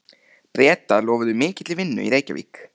Bretar lofuðu mikilli vinnu í Reykjavík.